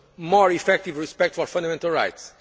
More effective respect for fundamental